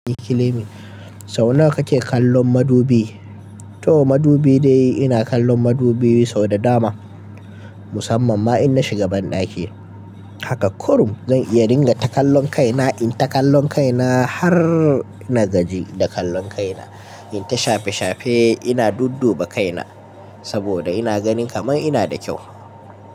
Sau nawa kake kallon madubi? To madubi dai ina kallon madubi sau da dama musamman ma in na shiga banɗaki. Haka kurum zan iya dinga ta kallon kaina, in ta kallon kaina har na gaji da kallon kaina. In ta shafe shafe ina dudduba kaina saboda ina gani kaman ina da kyau.